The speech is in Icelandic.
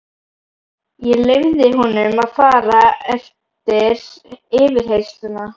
Ég leyfði honum að fara eftir yfirheyrsluna.